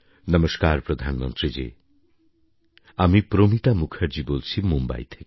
নমস্কার প্রধানমন্ত্রী জি আমি প্রমিতা মুখার্জি বলছি মুম্বই থেকে